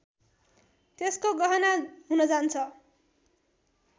त्यसको गहना हुन जान्छ